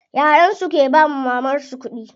Yayan su ke bawa mamar su kuɗi.